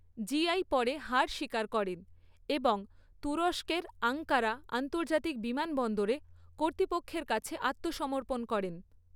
GI পরে হার স্বীকার করেন এবং তুরস্কের আঙ্কারা আন্তর্জাতিক বিমানবন্দরে কর্তৃপক্ষের কাছে আত্মসমর্পণ করেন।